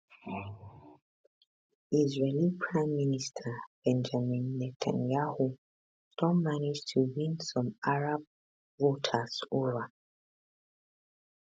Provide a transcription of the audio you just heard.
israeli prime minister benjamin netanyahu don manage to win some arab voters ova